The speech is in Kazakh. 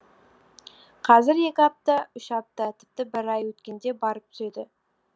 қазір екі апта үш апта тіпті бір ай өткенде барып түседі